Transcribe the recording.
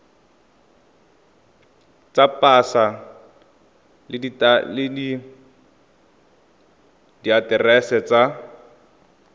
tsa pasa le diaterese tsa